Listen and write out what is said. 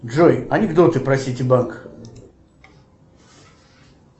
джой анекдоты про сити банк